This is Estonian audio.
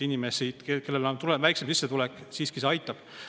Inimesi, kellel on väiksem sissetulek, siiski see aitab.